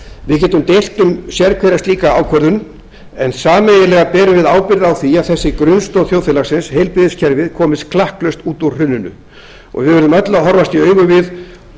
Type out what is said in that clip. við getum deilt um sérhverja slíka ákvörðun en sameiginlega berum við ábyrgð á því að þessi grunnstoð þjóðfélagsins heilbrigðiskerfið komist klakklaust út úr hruninu við verðum öll að horfast í augu við